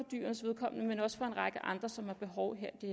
dyrenes vedkommende men også for en række andre som har behov her i